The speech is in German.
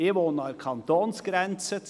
Ich wohne an der Kantonsgrenze.